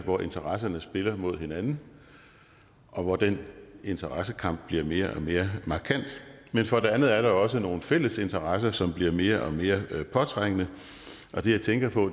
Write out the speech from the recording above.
hvor interesserne spiller op mod hinanden og den interessekamp bliver mere og mere markant for det andet er der også nogle fælles interesser som bliver mere og mere påtrængende og det jeg tænker på